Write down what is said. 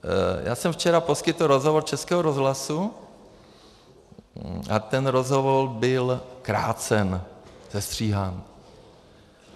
Já jsem včera poskytl rozhovor Českému rozhlasu a ten rozhovor byl krácen, sestříhán.